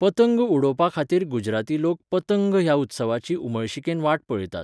पतंग उडोवपाखातीर गुजराती लोक 'पतंग' ह्या उत्सवाची उमळशिकेन वाट पळयतात.